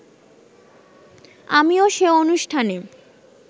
আমিও সে অনুষ্ঠানে